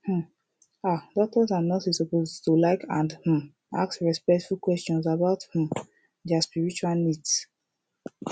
um ah doctors and nurses suppose to like and um ask respectful questions about um dia spiritual needs